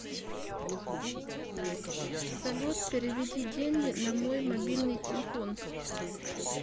салют переведи деньги на мой мобильный телефон